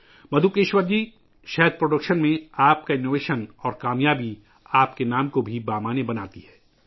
مدھوکیشور جی، شہد کی پیداوار میں آپ کی اختراع اور کامیابی بھی آپ کے نام کو معنی خیز بناتی ہے